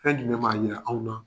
Fɛn jumɛn b'a yira anw na